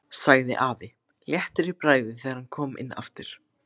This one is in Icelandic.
sagði afi léttur í bragði þegar hann kom inn aftur.